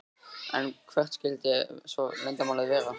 En hvert skyldi svo leyndarmálið vera?